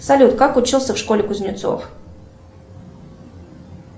салют как учился в школе кузнецов